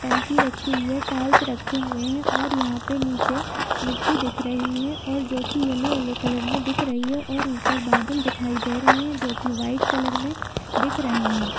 टंकी रखी हुई है टाइल्स रखे हुए हैं और यहाँ पे नीचे मिट्टी दिख रही है और जो की येल्लो येल्लो कलर में दिख रही है और ऊपर बादल दिखाई दे रहे हैं जोकी व्हाइट कलर में दिख रहे हैं ।